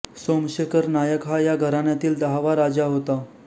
सोमशेखर नायक हा या घराण्यातील दहावा राजा होता